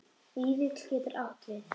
Vífill getur átt við